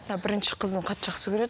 мына бірінші қызын қатты жақсы көреді